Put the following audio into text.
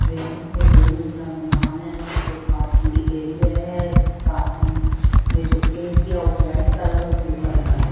building में दो मंजिला मकान है नीचे पार्किग एरिया है पार्किंग में जो पेंट किया व्हाइट कलर और ब्लू कलर का--